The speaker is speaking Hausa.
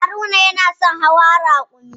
Haruna yana son hawa raƙumi